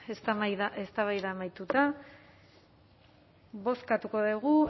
eztabaida amaituta bozkatuko dugu